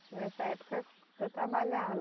Nessa época que eu trabalhava.